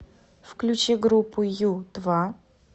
включи группу ю два